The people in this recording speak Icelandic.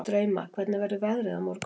Drauma, hvernig verður veðrið á morgun?